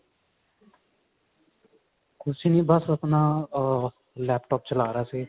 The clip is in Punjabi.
ਕੁਛ ਨੀ ਬਸ ਆਪਣਾ ਅਹ laptop ਚਲਾ ਰਿਹਾ ਸੀ